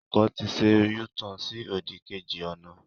Ọkọ̀ ti ṣẹ U-turn sí òdì kejì ọ̀nà.